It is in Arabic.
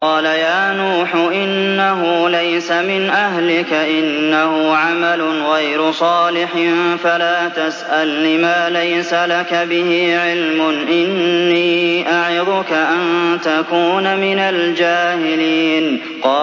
قَالَ يَا نُوحُ إِنَّهُ لَيْسَ مِنْ أَهْلِكَ ۖ إِنَّهُ عَمَلٌ غَيْرُ صَالِحٍ ۖ فَلَا تَسْأَلْنِ مَا لَيْسَ لَكَ بِهِ عِلْمٌ ۖ إِنِّي أَعِظُكَ أَن تَكُونَ مِنَ الْجَاهِلِينَ